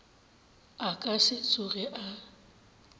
a ka se tsoge a